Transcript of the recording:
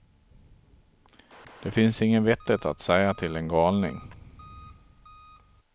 Det finns inget vettigt att säga till en galning.